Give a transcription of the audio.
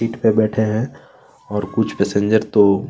seat पे बैठे है और कुछ पैसेंजर तो --